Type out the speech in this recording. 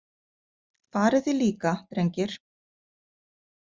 Farið þið líka, drengir.